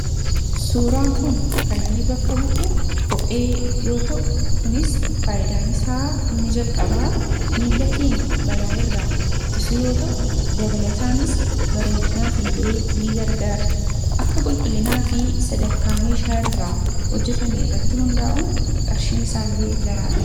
Suuraan kun kan inni bakka bu'u kophee yoo ta'u kunis faayyidaan isaa inni jalqabaa miila kenyaa balaa irraa ittisuu yoo ta'u dabalataanis bareedinaaf illee ni gargaara akka qulqullinaa fi sadarkaa meeshaa irraa hojjetame irratti hundaa'uun qarshiin isaa illee garaagaradha.